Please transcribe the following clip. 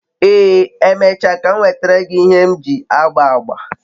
ee, emecha ka m nwetara gi ihe m ji agba agba